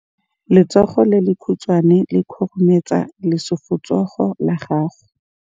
Letsogo le lekhutshwane le khurumetsa lesufutsogo la gago.